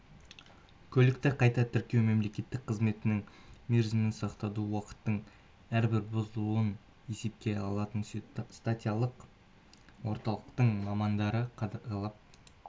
көлікті қайта тіркеу мемлекеттік қызметінің мерзімін сақтауды уақыттың әрбір бұзылуын есепке алатын ситациялық орталықтың мамандары қадағалап